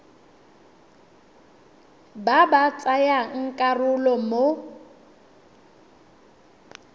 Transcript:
ba ba tsayang karolo mo